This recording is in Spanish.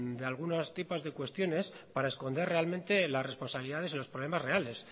de algunas tipos de cuestiones para esconder realmente las responsabilidades y los problemas reales